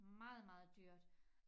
Meget meget dyrt